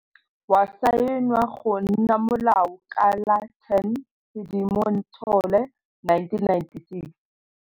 Wa saenwa go nna molao ka la 10 Sedimonthole 1996.